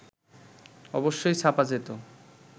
অবশ্যই ছাপা যেত